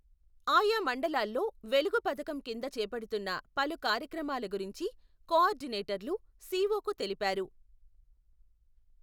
ఆయా మండలాల్లో వెలుగు పథకం కింద చేపడుతున్న పలు కార్యక్రమాల గురించి, కోఆర్డినేటర్లు, సీ.ఓ.కు తెలిపారు.